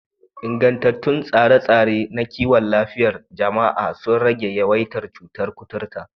Ingantattun tsare-tsare na kiwon lafiyar jama'a sun rage yawaitar cutar kuturta